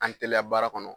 An teliya baara kɔnɔ